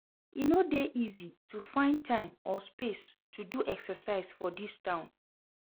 E no dey easy to find time or space to do exercise for dis town.